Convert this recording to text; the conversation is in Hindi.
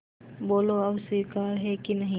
बोलो अब स्वीकार है कि नहीं